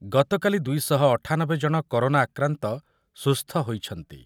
ଗତକାଲି ଦୁଇ ଶହ ଅଠାନବେ ଜଣ କରୋନା ଆକ୍ରାନ୍ତ ସୁସ୍ଥ ହୋଇଛନ୍ତି ।